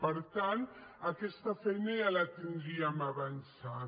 per tant aquesta feina ja la tindríem avançada